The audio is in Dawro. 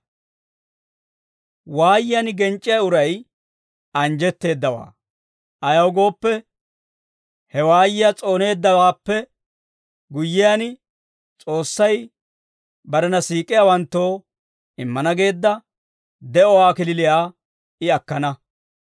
Waayiyaan genc'c'iyaa uray anjjetteeddawaa; ayaw gooppe, he waayiyaa s'ooneeddawaappe guyyiyaan, S'oossay barena siik'iyaawanttoo immana geedda de'uwaa kalachchaa I akkana.